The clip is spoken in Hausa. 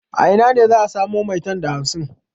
A ina ne za a samo maitan da hamsin?